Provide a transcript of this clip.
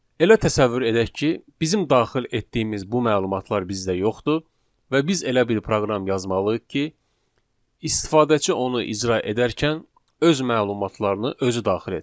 Elə təsəvvür edək ki, bizim daxil etdiyimiz bu məlumatlar bizdə yoxdur və biz elə bir proqram yazmalıyıq ki, istifadəçi onu icra edərkən öz məlumatlarını özü daxil etsin.